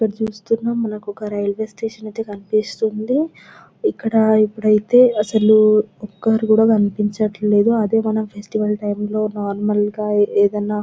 ఇది చూస్తుంటే మనకి ఒక రైల్వే స్టేషన్ కనిపిస్తుంది ఇక్కడ ఇప్పుడు అయితే అసలు ఒక్కరు కూడా కనిపించడం లేదు అదే మన ఫెస్టివల్ టైం లో నార్మల్ గా ఏదైనా--